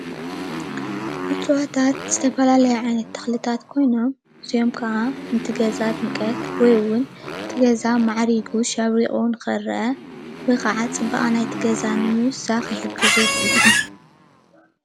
እፅዋታት ዝተፈላለዩ ዓይነታት ተኽልታት ኮይኖም፣ እዚኦም ከዓ ነቲ ገዛ ድምቀት ወይ እውን እቲ ገዛ ማዕሪጉ ሸብሪቑ ንኽአ ወይ ከዓ ፅባቐ ናይቲ ገዛ ንምውሳኽ ይሕግዙ፡፡